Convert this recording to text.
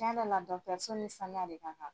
Tiɲɛ yɛrɛ la ni saniya de ka kan.